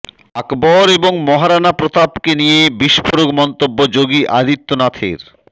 আকবর এবং মহারানা প্রতাপকে নিয়ে বিস্ফোরক মন্তব্য যোগী আদিত্যনাথের